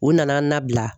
U nana an nabila